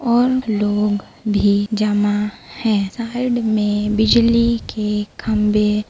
और लोग भी जमा है साइड में बिजली के खम्भे --